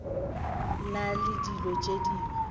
na le dilo tše dingwe